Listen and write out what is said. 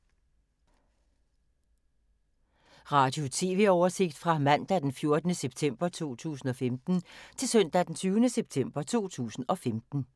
Radio/TV oversigt fra mandag d. 14. september 2015 til søndag d. 20. september 2015